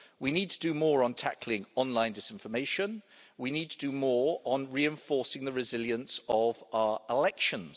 We need to do more on tackling online disinformation, and we need to do more on reinforcing the resilience of our elections.